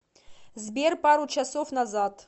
сбер пару часов назад